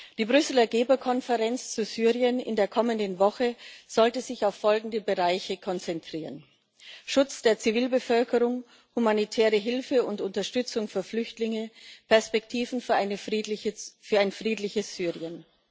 Die Brüsseler Geberkonferenz zu Syrien in der kommenden Woche sollte sich auf folgende Bereiche konzentrieren Schutz der Zivilbevölkerung, humanitäre Hilfe und Unterstützung für Flüchtlinge, Perspektiven für ein friedliches Syrien.